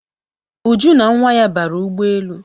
Uju na nwa ya bara ụgbọelu